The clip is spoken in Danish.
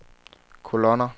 kolonner